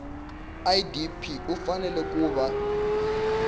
idp u fanele ku va